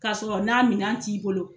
Ka sɔrɔ n'a minɛn t'i bolo